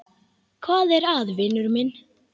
Hvað er að, vinur minn?